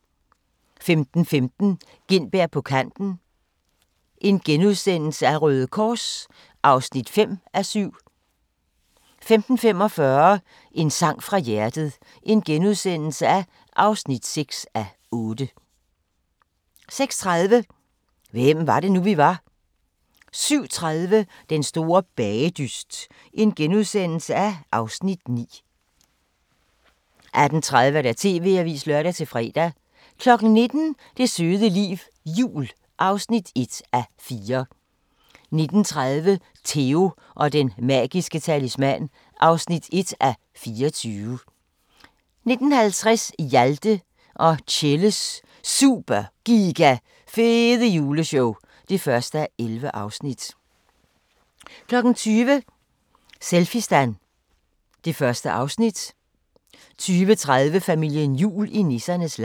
15:15: Gintberg på Kanten – Røde Kors (5:7)* 15:45: En sang fra hjertet (6:8)* 16:30: Hvem var det nu, vi var? * 17:30: Den store bagedyst (Afs. 9)* 18:30: TV-avisen (lør-fre) 19:00: Det søde liv – jul (1:4) 19:30: Theo & den magiske talisman (1:24) 19:50: Hjalte og Tjelles Super Giga Fede Juleshow (1:11) 20:00: Selfistan (Afs. 1) 20:30: Familien Jul i nissernes land